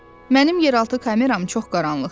Mənim yeraltı kameram çox qaranlıqdır.